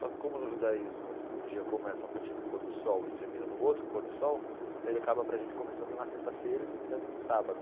Só que como no judaísmo o dia começa a partir do pôr do sol e termina no outro pôr do sol, então ele acaba para a gente começando na sexta-feira e terminando no sábado.